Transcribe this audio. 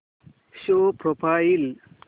show profile